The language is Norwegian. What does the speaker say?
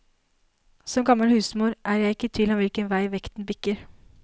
Som gammel husmor er jeg ikke i tvil om hvilken vei vekten bikker.